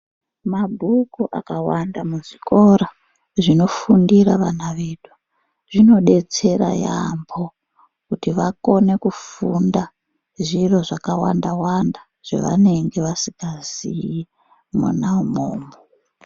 Mabhuku akawanda muzvikora, zvinofundira vana vedu, zvinodetsera yaampho, kuti vakone kufunda zviro zvakawanda-wanda, zvavanenge vasikazii, mwona umwomwo.